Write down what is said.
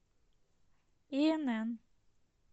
инн